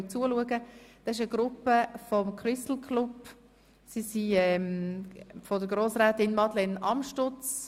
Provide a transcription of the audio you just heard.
Es handelt sich um Gäste von Grossrätin Madeleine Amstutz.